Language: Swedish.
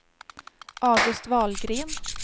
August Wahlgren